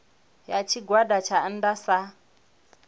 ya tshigwada tsha nnda sa